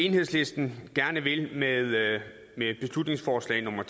enhedslisten gerne vil med beslutningsforslag